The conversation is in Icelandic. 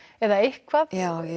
eða eitthvað